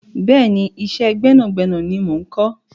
Bẹ́ẹ̀ni, iṣẹ́ gbẹ́nàgbẹ́nà ni mo ń kọ́.